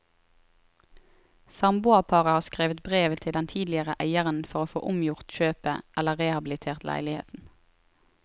Samboerparet har skrevet brev til den tidligere eieren for å få omgjort kjøpet eller rehabilitert leiligheten.